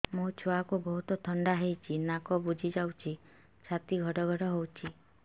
ମୋ ଛୁଆକୁ ବହୁତ ଥଣ୍ଡା ହେଇଚି ନାକ ବୁଜି ଯାଉଛି ଛାତି ଘଡ ଘଡ ହଉଚି